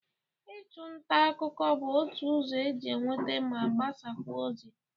Ịchụ nta akụkụ bụ otu ụzọ e ji enweta ma gbasakwa ozi.